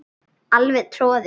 Alveg troðið.